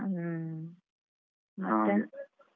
ಹ್ಮ ಮತ್ತೆ.